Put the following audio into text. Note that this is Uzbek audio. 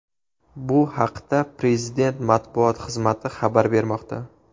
Bu haqda Prezident matbuot xizmati xabar bermoqda.